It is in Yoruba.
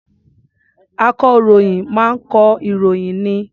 Akọ̀ròyìn máa ń kọ ìròyìn ni.